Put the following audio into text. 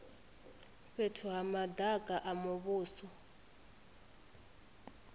fhethu ha madaka a muvhuso